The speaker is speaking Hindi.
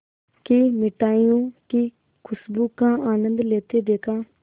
की मिठाइयों की खूशबू का आनंद लेते देखा